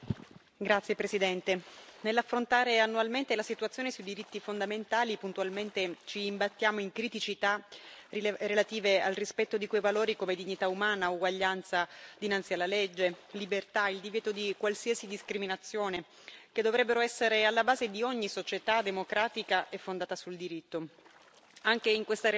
Signor Presidente, onorevoli colleghi, nell'affrontare annualmente la situazione sui diritti fondamentali, puntualmente ci imbattiamo in criticità relative al rispetto di quei valori, come dignità umana, uguaglianza dinanzi alla legge, libertà, il divieto di qualsiasi discriminazione, che dovrebbero essere alla base di ogni società democratica e fondata sul diritto.